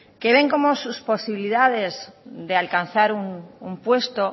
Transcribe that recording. que ven cómo sus posibilidades de alcanzar un puesto